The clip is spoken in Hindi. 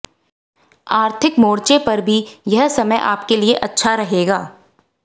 आर्थिक मोर्चे पर भी यह समय आपके लिए अच्छा रहेगा